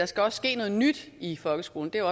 skal ske noget nyt i folkeskolen det er